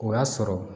O y'a sɔrɔ